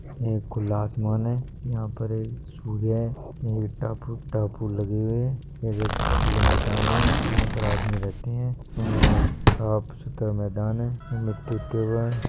यह एक खुला आसमान है यह पे एक सूर्य है यह टापू लगे हुए है इधर खुला मैदान है यह पे आदमी रहते है और साफ़ सुथरा मैदान है। --